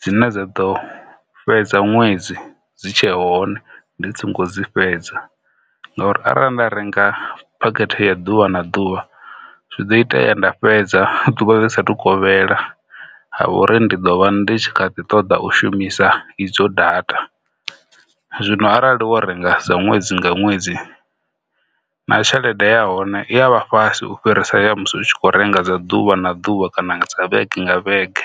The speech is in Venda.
dzine dza ḓo fhedza ṅwedzi dzi tshe hone ndi si ngo dzi fhedza ngauri arali nda renga phakhethe ya ḓuvha na ḓuvha zwi do itea nda fhedza ḓuvha ḽi sathu kovhela ha vha uri ndi ḓo vha ndi tshi kha ḓi ṱoḓa u shumisa idzo data. Zwino arali wo renga dza ṅwedzi nga ṅwedzi na tshelede ya hone i avha fhasi ufhirisa ya musi u tshi kho renga dza ḓuvha na ḓuvha kana dza vhege nga vhege.